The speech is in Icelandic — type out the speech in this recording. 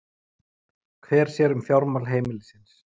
Hver sér um fjármál heimilisins?